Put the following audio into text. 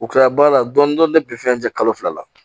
U kilara baara la dɔɔnin dɔɔnin bi fɛn jɛ kalo fila la